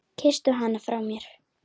Kysstu hann frá mér.